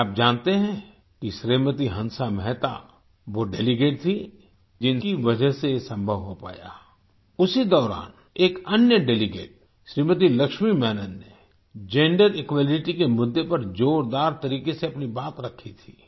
क्या आप जानते हैं कि श्रीमती हंसा मेहता वो डेलीगेट थी जिनकी वजह से ये संभव हो पाया उसी दौरान एक अन्य डेलीगेट श्रीमती लक्ष्मी मेनन ने जेंडर इक्वालिटी के मुद्दे पर जोरदार तरीके से अपनी बात रखी थी